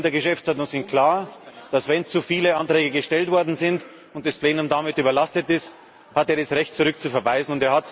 Die Regeln in der Geschäftsordnung sind klar Wenn zu viele Anträge gestellt worden sind und das Plenum damit überlastet ist, hat er das Recht auf Rücküberweisung.